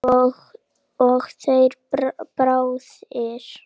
Og þeir báðir.